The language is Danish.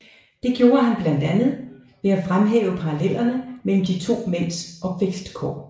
Det gjorde han blandt andet ved at fremhæve parallellerne mellem de to mænds opvæstkår